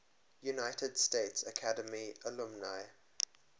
united states military academy alumni